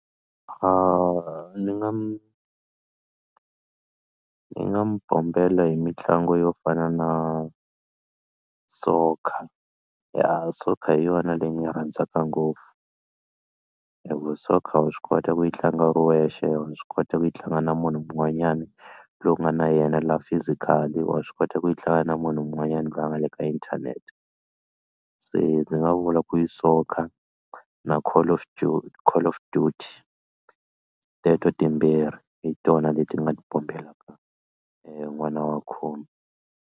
Ni nga mi ni nga mi bombela hi mitlangu yo fana na soccer ya soccer hi yona leyi ni yi rhandzaka ngopfu hi ku soccer wa swi kota ku yi tlanga u ri wexe. Wa swi kota ku yi tlanga na munhu un'wanyani loyi u nga na yena la physical wa swi kota ku yi tlanga na munhu un'wanyani loyi a nga le ka inthanete se ndzi nga vula ku i soccer na call of call of duty teto timbirhi hi tona leti nga ti bombelaka n'wana wa khume.